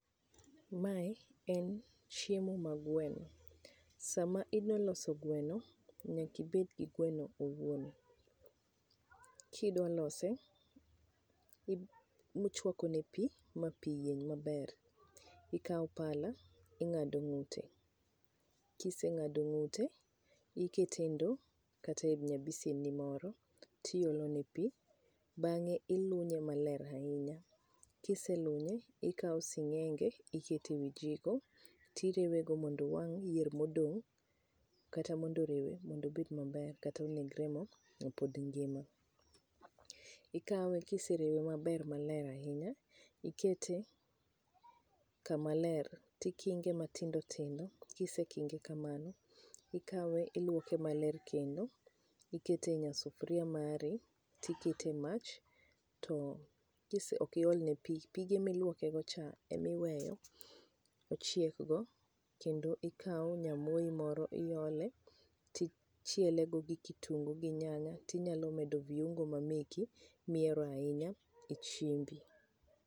Mae en chiemo ma gweno. Sama idwa loso gweno, nyaka ibed gi gweno owuon. Kidwa lose, ib ibochwako ne pi ma pi yieny maber. Ikao pala ing'ado ng'ute, kiseng'ado ng'ute, ikete e ndo kata e nya bisen ni moro, tiolo ne pi, bang'e ilunye maler ahinya. Kiselunye, ikao sing'enge ikete ewi jiko tirewe go mondo owang' yier modong', kata mondo orewe mondo obed maber kata mondo oneg remo mapod ngima. Ikawe kiserewe maler maber ahinya, ikete kama ler tikinge mathindo thindo, kisekinge kamano, ikawe iluoke maler kendo ikete e nyasufria mari tikete e mach to kise ok iol ne pi pige miluoke go cha emiweyo ochiek go. Kendo ikao nyamoi moro, iole tichiele go gi kitungu gi tinyalo medo vuingo mameki mihero ainya, e chiembi.